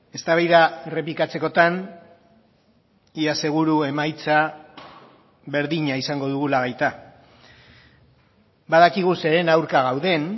eztabaida errepikatzekotan ia seguru emaitza berdina izango dugula baita badakigu zeren aurka gauden